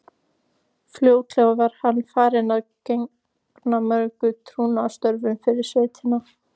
Fljótlega var hann farinn að gegna mörgum trúnaðarstörfum fyrir sveitina.